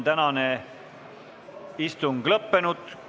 Tänane istung on lõppenud.